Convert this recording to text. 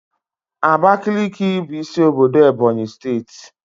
Abakiliki bụ isi obodo Ebonyi steeti